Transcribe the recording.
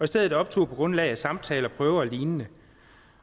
stedet optog på grundlag af samtaler prøver og lignende